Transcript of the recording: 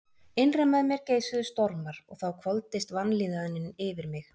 Innra með mér geisuðu stormar og þá hvolfdist vanlíðanin yfir mig.